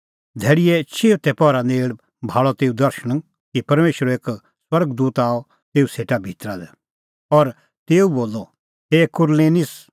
धैल़ीए चिऊथै पहरा नेल़ भाल़अ तेऊ दर्शण कि परमेशरो एक स्वर्ग दूत आअ तेऊ सेटा भितरा लै और तेऊ बोलअ हे कुरनेलिस